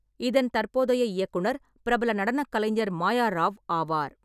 இதன் தற்போதைய இயக்குனர் பிரபல நடனக் கலைஞர் மாயா ராவ் ஆவார்.